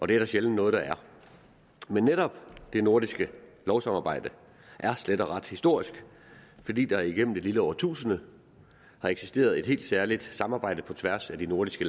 det er der sjældent noget der er men netop det nordiske lovsamarbejde er slet og ret historisk fordi der igennem et lille årtusinde har eksisteret et helt særligt samarbejde på tværs af de nordiske